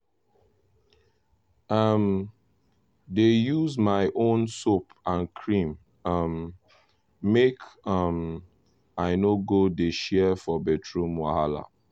i um dey use my own soap and cream um make um i no go dey share for bathroom wahala.